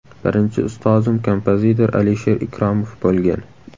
Birinchi ustozim kompozitor Alisher Ikromov bo‘lgan.